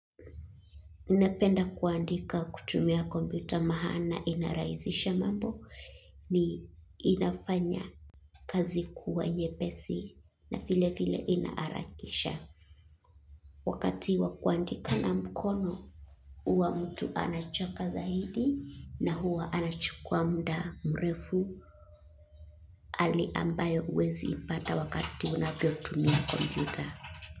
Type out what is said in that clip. Napenda kuandika kutumia kompyuta maana inarahizisha mambo ni inafanya kazi kuwa nyepesi na vile vile inaharakisha. Wakati wakuandika na mkono huwa mtu anachoka zaidi na huwa anachukua muda mrefu hali ambayo haueziipata unapotumia kompuyta.